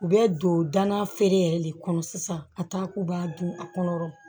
U bɛ don danafeere yɛrɛ de kɔnɔ sisan ka taa k'u b'a dun a kɔnɔ